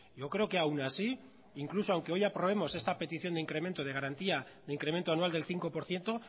yo creo que aun así incluso aunque hoy aprobemos esta petición de incremento de garantía de incremento anual del cinco por ciento